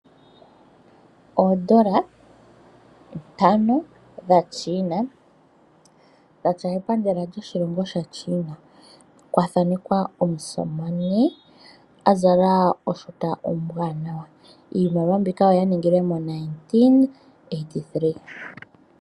Oodola ntano dha China, dha tya epandela lyoshilongo shaChina. Oya thanekwa omusamane a zala oshuta ombwanawa. Iimaliwa mbika oya ningilwe mo1993.